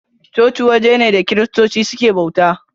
Coci waje ne da kiristoci suke bauta.